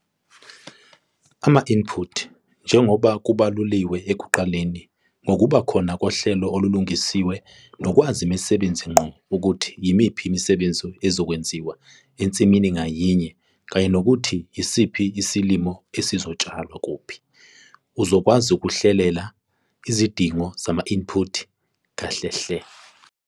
Ama-input - njengoba kubaluliwe ekuqaleni, ngokuba khona kohlelo olulungisiwe nokwazi imisebenzi ngqo ukuthi yimiphi imisebenzi ezokwenziwa ensimini ngayinye kanye nokuthi yisiphi isilimo esizotshalwa kuphi, uzokwazi ukuhlelela izidingo zama-input kahlehle.